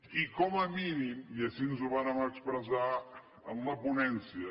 i com a mínim i així ho vàrem expressar en la ponència